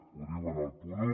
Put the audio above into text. ho diu en el punt un